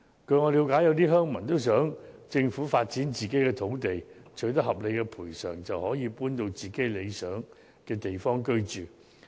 據我了解，有些鄉民也想政府發展自己的土地，待取得合理賠償後便可搬到理想的地方居住。